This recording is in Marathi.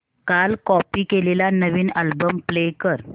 काल कॉपी केलेला नवीन अल्बम प्ले कर